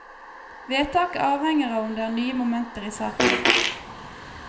Vedtaket avhenger av om det er nye momenter i saken.